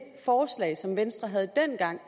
er